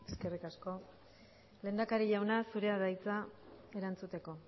eskerrik asko lehendakari jauna zurea da hitza erantzuteko